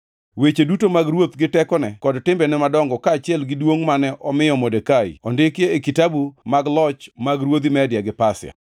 Weche duto mag ruoth gi tekone kod timbene madongo kaachiel gi duongʼ mane omiyo Modekai ondiki e kitabu mag loch mag ruodhi Media gi Pasia.